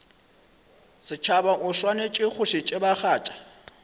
setšhaba o swanetše go tsebagatša